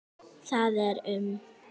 Það er um